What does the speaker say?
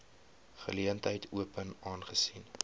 geleentheid open aangesien